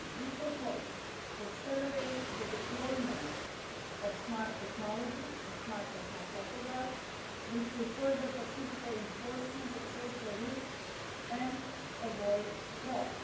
We propose to accelerate the deployment of smart technologies and smart tachographs, which will further facilitate the enforcement of social rules and avoid fraud.